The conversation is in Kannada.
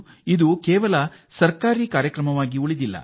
ಇದು ಈಗ ಸರ್ಕಾರದ ಕಾರ್ಯಕ್ರಮವಾಗಿ ಮಾತ್ರ ಉಳಿದಿಲ್ಲ